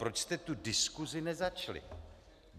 Proč jste tu diskusi nezačali?